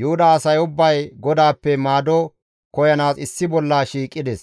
Yuhuda asay ubbay GODAAPPE maado koyanaas issi bolla shiiqides;